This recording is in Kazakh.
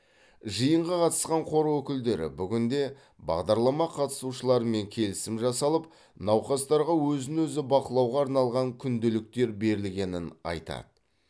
жиынға қатысқан қор өкілдері бүгінде бағдарлама қатысушыларымен келісім жасалып науқастарға өзін өзі бақылауға арналған күнделіктер берілгенін айтады